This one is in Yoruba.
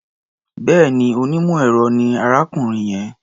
Bẹ́ẹ̀ni, onímọ̀-ẹ̀rọ ni arákùnrin yẹn.